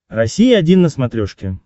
россия один на смотрешке